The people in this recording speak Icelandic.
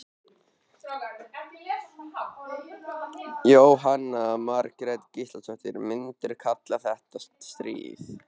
Jóhanna Margrét Gísladóttir: Myndirðu kalla þetta stríð?